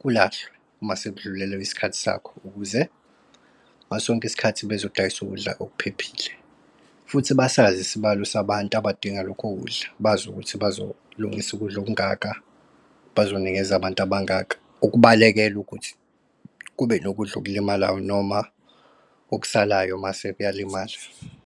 kulahlwe uma sekudlulelwe kwiskhathi sakho, ukuze ngasonke isikathi bezodayisa ukudla okuphephile, futhi basazi isibalo sabantu abadinga lokho ukudla, bazi ukuthi bazolungisa ukudla okungaka, bazonikeza abantu abangaka. Ukubalekela ukuthi kube nokudla okulimalayo noma okusalayo mase kuyalimala.